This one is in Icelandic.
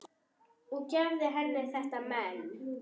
Og gefðu henni þetta men.